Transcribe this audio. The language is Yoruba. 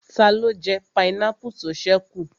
Taló jẹ pineapple tó ṣẹ́ kù?